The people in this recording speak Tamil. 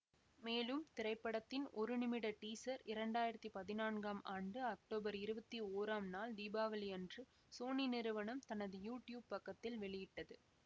மேலும் திரைப்படத்தின் ஒரு நிமிட டீசர் இரண்டாயிரத்தி பதினான்காம் ஆண்டு அக்டோபர் இருவத்தி ஓராம் நாள் தீபாவளியன்று சோனி நிறுவனம் தனது யூட்யூப் பக்கத்தில் வெளியிட்டது